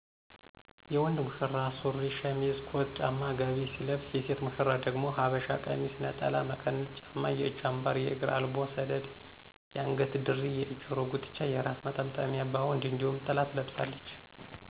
የወንድ ሙሽራ ሱሪ፣ ሸሚዝ፣ ኮት፣ ጫማ፣ ጋቢ ሲለብስ የሴት ሙሸራ ደግሞ የሐበሻ ቀሚስ፣ ነጠላ፣ መቀነት፣ ጫማ፣ የእጅ አምባር፣ የእግር አልቦ/ሰደድ፣ የአንገት ድሪ፣ የጀሮ ጉትቻ፣ የራስ መጠምጠሚያ ባወንድ እነዲሁም ጥላ ትለብሳለች።